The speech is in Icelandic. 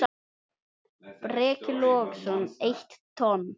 Breki Logason: Eitt tonn?